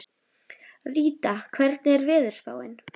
Ríta, hvernig er veðurspáin?